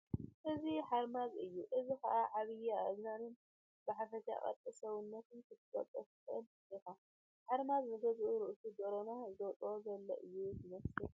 እዚ ሓርማዝ እዩ። እዚ ኸኣ ብዓብዪ ኣእዛኑን ብሓፈሻ ቅርፁ ሰብነቱን ክትፈልጦ ትኽእል ኢኻ ። ሓራምዝ ንገዛእ ርእሱ ደሮና ዘውጽእ ዘሎ እዩ ዝመስል።